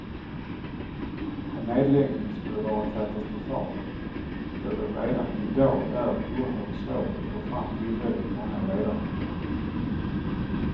En nedläggning skulle vara katastrofal, då det redan i dag är oerhört svårt att få fram tillräckligt många ledarhundar.